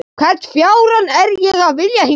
Hvern fjárann er ég að vilja hingað?